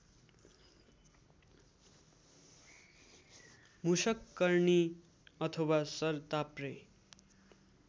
मुषककर्णी अथवा सरताप्रे